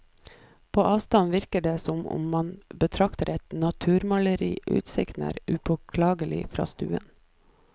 På avstand virker det som om man betrakter et naturmaleri, utsikten er upåklagelig fra stuen.